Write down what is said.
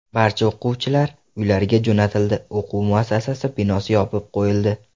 Barcha o‘quvchilar uylariga jo‘natildi, o‘quv muassasasi binosi yopib qo‘yildi.